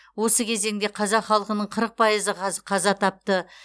осы кезеңде қазақ халқының қырық пайызы қаза тапты